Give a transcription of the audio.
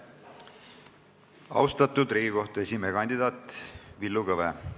Austatud Riigikohtu esimehe kandidaat Villu Kõve!